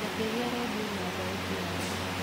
njakĩria redio na thauti ya thĩ